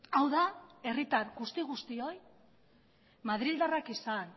hau da herritar guzti guztioi madrildarrak izan